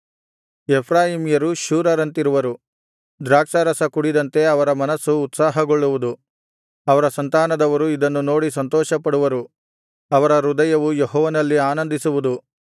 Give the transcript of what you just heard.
ಎಫ್ರಾಯೀಮ್ಯರು ಶೂರರಂತಿರುವರು ದ್ರಾಕ್ಷಾರಸ ಕುಡಿದಂತೆ ಅವರ ಮನಸ್ಸು ಉತ್ಸಾಹಗೊಳ್ಳುವುದು ಅವರ ಸಂತಾನದವರು ಇದನ್ನು ನೋಡಿ ಸಂತೋಷಪಡುವರು ಅವರ ಹೃದಯವು ಯೆಹೋವನಲ್ಲಿ ಆನಂದಿಸುವುದು